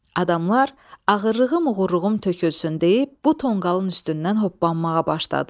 Adamlar ağırlığım uğurluğum tökülsün deyib bu tonqalın üstündən hoppanmağa başladılar.